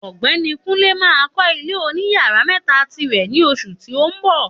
Ògbéni Kunle ma kó ilé oní yàrá mẹ́ta tirè ní oṣù tí o nbọ̀